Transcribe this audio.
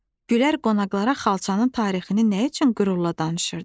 Gülər qonaqlara xalçanın tarixini nə üçün qürurla danışırdı?